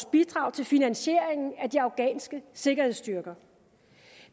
bidraget til finansieringen af de afghanske sikkerhedsstyrker